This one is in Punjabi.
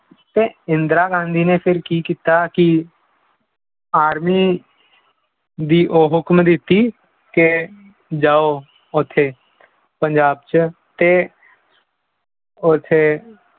ਤੇ ਇੰਦਰਾ ਗਾਂਧੀ ਨੇ ਫਿਰ ਕੀ ਕੀਤਾ ਕਿ army ਦੀ ਉਹ ਹੁਕਮ ਦਿੱਤੀ ਕਿ ਜਾਓ ਉੱਥੇ ਪੰਜਾਬ 'ਚ ਤੇ ਉੱਥੇ